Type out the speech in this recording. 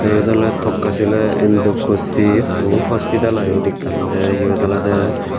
yot oley tokasila andokosbi hu hospitel i yot ekkan tey yot olodey.